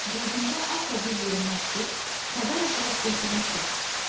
Qədimdə atla bir yerə məktub, xəbər aparıb gətirən şəxs.